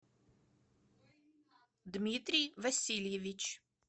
дмитрий васильевич